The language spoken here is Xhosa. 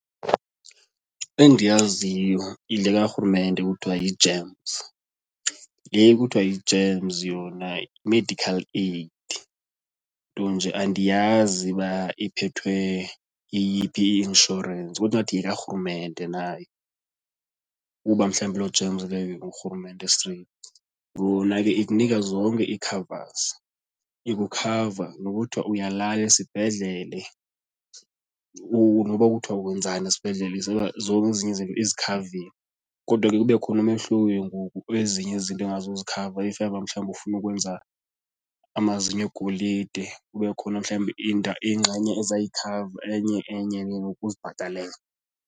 Endiyaziyo yile kaRhulumente kuthiwa yi-GEMS le kuthiwa yi-GEMS yona i-medical aid nto nje andiyazi uba iphethwe yeyiphi i-insurance, kodwa ingathi yekaRhulumente nayo ukuba mhlawumbi loo GEMS leyo nguRhulumente straight. Yona ke ikunika zonke i-covers, ikukhava noba kuthwa uya la esibhedlele noba kuthwa wenzani esibhedlele zonke ezinye izinto izikhavile. Kodwa ke kube khona umehluko ke ngoku kwezinye izinto engazuzikhava if ever mhlawumbi ufuna ukwenza amazinyo egolide kube khona mhlawumbi ingxenye eza yikhava enye enye ke ngoku uzibhatalele.